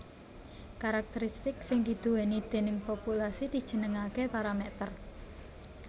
Karakteristik sing diduwèni déning populasi dijenengaké paramèter